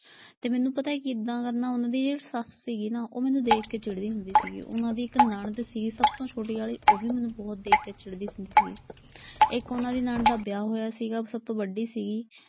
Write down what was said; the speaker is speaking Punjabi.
ਤੇ ਮੈਨੂੰ ਪਤਾ ਕਿੱਦਾਂ ਕਰਨਾ, ਉਨ੍ਹਾਂ ਦੀ ਜਿਹੜੀ ਸੱਸ ਸੀਗੀ ਨਾ ਉਹ ਮੈਨੂੰ ਦੇਖ ਕੇ ਚਿੜਦੀ ਹੁੰਦੀ ਸੀਗੀ। ਉਨ੍ਹਾਂ ਦੀ ਇਕ ਨਣਦ ਸੀ ਸਭ ਤੋਂ ਛੋਟੀ ਆਲੀ ਉਹ ਵੀ ਮੈਨੂੰ ਬਹੁਤ ਦੇਖ ਕੇ ਚਿੜਦੀ ਹੁੰਦੀ ਸੀ। ਇੱਕ ਉਨ੍ਹਾਂ ਦੀ ਨਣਦ ਦਾ ਵਿਆਹ ਹੋਇਆ ਸੀਗਾ ਸਭ ਤੋਂ ਵੱਡੀ ਸੀ।